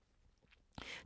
TV 2